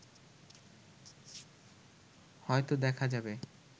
হয়ত দেখা যাবে